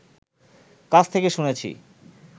কাছ থেকে শুনেছি